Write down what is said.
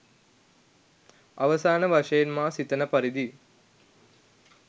අවසාන වශයෙන් මා සිතන පරිදි